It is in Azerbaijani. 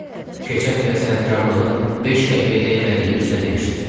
Keçən dəfə sənətkarlığının beş qəpiyə dəymədiyini üzünə demişdim.